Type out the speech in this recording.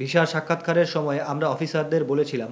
ভিসার সাক্ষাতকারের সময়ে আমরা অফিসারদের বলেছিলাম